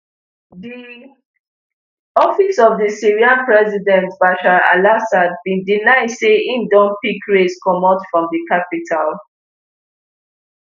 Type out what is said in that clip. di office of di syrian president bashar alassad bin deny say im don pick race comot from di capital